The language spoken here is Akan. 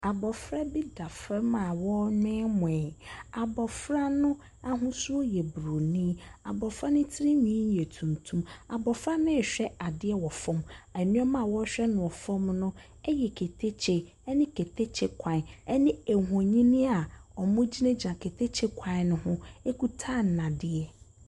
Abɔfra bi da fam a ɔremoemoe. Abɔfra no ahosuo yɛ buroni. Abɔfra no tirinwi yɛ tuntum. Abɔfra no rehwɛ adeɛ wɔ fam. Nneɛma a ɔrehwɛ no wɔ fam no no yɛ ketekye ne ketekye kwan, ne nhonin a wɔgyinagyina ketekye kwan no ho kita nnadeɛ.